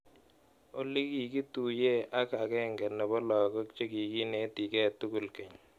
Olly, kakituye ak agenge nebo lagok chekikinetike tukul keny.